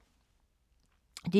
DR2